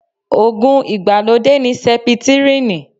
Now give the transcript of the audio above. Ògùn ìgbàlódé ní sẹpitírínì